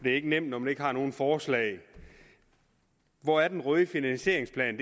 det er ikke nemt når man ikke har nogen forslag hvor er den røde finansieringsplan